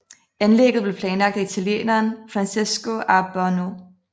Anlægget blev planlagt af italieneren Francesco a Bornau